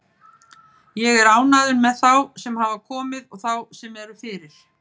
Ég er ánægður með þá sem hafa komið og þá sem eru fyrir.